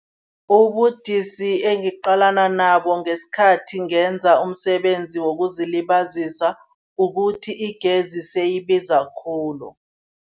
Ubudisi engiqalana nabo ngesikhathi ngenza umsebenzi wokuzilibazisa, ukuthi igezi seyibiza khulu.